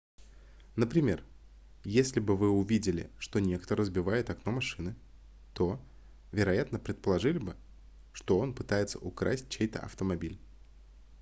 например если бы вы увидели что некто разбивает окно машины то вероятно предположили бы что он пытается украсть чей-то автомобиль